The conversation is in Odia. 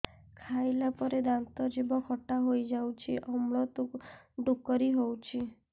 ଖାଇଲା ପରେ ଦାନ୍ତ ଜିଭ ଖଟା ହେଇଯାଉଛି ଅମ୍ଳ ଡ଼ୁକରି ହଉଛି